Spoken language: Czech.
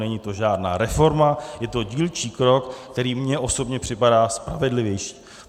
Není to žádná reforma, je to dílčí krok, který mně osobně připadá spravedlivější.